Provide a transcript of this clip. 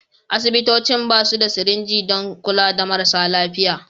Asibitocin ba su da sirinji don kula da marasa lafiya.